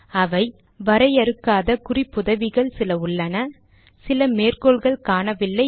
அவை வரையறுக்காத குறிப்புதவிகள் சில உள்ளன சில மேற்கோள்கள் காணவில்லை